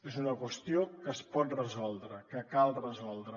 és una qüestió que es pot resoldre que cal resoldre